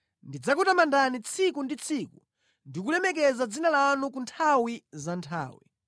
Ndidzakutamandani tsiku ndi tsiku ndi kulemekeza dzina lanu ku nthawi za nthawi.